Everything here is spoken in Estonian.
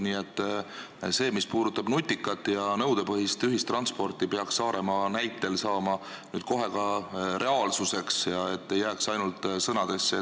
Nii et nutikas ja nõudepõhine ühistransport peaks Saaremaa näitel nüüd kohe reaalsuseks saama, et see ei jääks ainult sõnadesse.